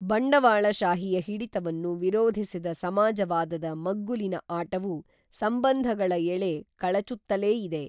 ಬಂಡವಾಳಶಾಹಿಯ ಹಿಡಿತವನ್ನು ವಿರೋಧಿಸಿದ ಸಮಾಜವಾದದ ಮಗ್ಗುಲಿನ ಆಟವೂ ಸಂಬಂಧಗಳ ಎಳೆ ಕಳೆಚುತ್ತಲೇ ಇದೆ.